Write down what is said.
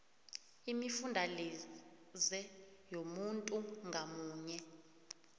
imifundalize yomuntu ngamunye